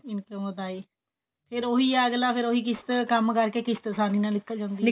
income ਵਧਾਈ ਫੇਰ ਉਹੀ ਹੈ ਅਗਲਾ ਫੇਰ ਉਹੀ ਕਿਸ਼ਤ ਕੰਮ ਕਰਕੇ ਕਿਸ਼ਤ ਆਸਾਨੀ ਨਾਲ ਨਿਕਲ ਜਾਂਦੀ ਹੈ